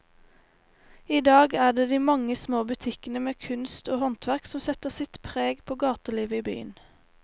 I dag er det de mange små butikkene med kunst og håndverk som setter sitt preg på gatelivet i byen.